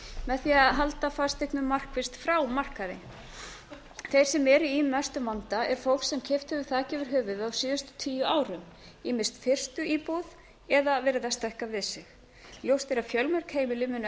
því að halda fasteignum markvisst frá markaði þeir sem eru í mestum vanda er fólk sem keypt hefur þak yfir höfuðið á síðustu tíu árum ýmist fyrstu íbúð eða verið að stækka við sig ljóst er að fjölmörg heimili munu